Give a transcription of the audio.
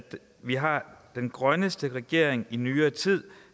vi har den grønneste regering i nyere tid